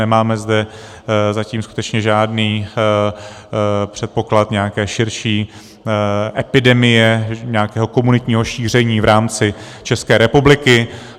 Nemáme zde zatím skutečně žádný předpoklad nějaké širší epidemie, nějakého komunitního šíření v rámci České republiky.